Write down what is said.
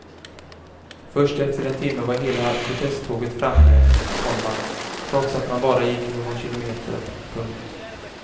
Först efter en timme var hela protesttåget framme, komma trots att man bara gick någon kilometer. punkt